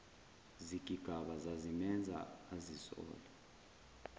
zigigaba zazimenza azisole